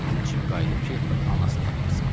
İndi Cim qayıdıb ki, anasını da aparsın.